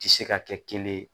Tɛ se ka kɛ kelen ye